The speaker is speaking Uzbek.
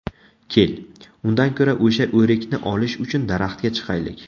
Kel, undan ko‘ra o‘sha o‘rikni olish uchun daraxtga chiqaylik.